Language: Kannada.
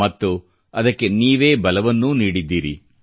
ಮತ್ತು ಅದಕ್ಕೆ ನೀವೇ ಬಲವನ್ನೂ ನೀಡಿದ್ದೀರಿ